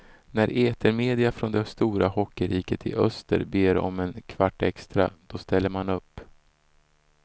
När etermedia från det stora hockeyriket i öster ber om en kvart extra, då ställer man upp.